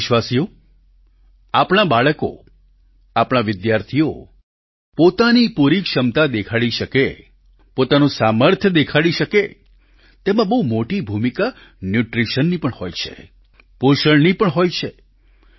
પ્રિય દેશવાસીઓ આપણાં બાળકો આપણા વિદ્યાર્થીઓ પોતાની પૂરી ક્ષમતા દેખાડી શકે પોતાનું સામર્થ્ય દેખાડી શકે તેમાં બહુ મોટી ભૂમિકા ન્યૂટ્રિશનની પણ હોય છે પોષણની પણ હોય છે